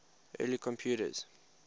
early computers